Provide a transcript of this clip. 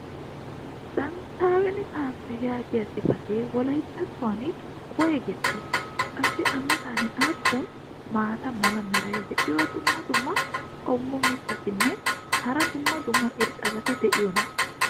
"datawun kaafee" yaagiya xifatee wolayttattuwan woygettii? qassi a matan aappun maata mala meray diyo dumma dumma qommo mitattinne hara dumma dumma irxxabati de'iyoonaa?